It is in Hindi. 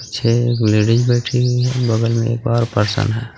पीछे एक लेडिस बैठी हुई है। बगल में एक और पर्सन है।